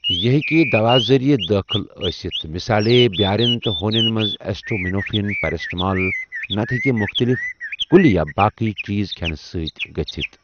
یہٕ ہیٚکہِ دواہ ذریعہ دأخل ٲسِتھ، مِثالے بٮ۪ارٮ۪ن تہٕ ہوٛنٮ۪ن مَنٛز ایسٹامِنوفیٖن پیراسٹٕمال، نَتہٕ ہٮ۪کہِ مُختٕلِف کُلہِ یا باقی چیٖز کِھٮ۪نہٕ سۭتہِ گٕژھتھ